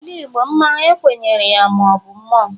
N'ala Igbo, mmanwu ekwenyere na ọ bụ mmụọ.